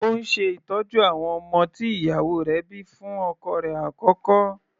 Ó ń ṣe ìtọ́jú àwọn ọmọ tí ìyàwó rẹ̀ bíi fún ọkọ rẹ̀ àkọ́kọ́.